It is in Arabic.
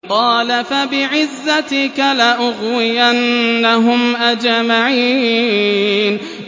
قَالَ فَبِعِزَّتِكَ لَأُغْوِيَنَّهُمْ أَجْمَعِينَ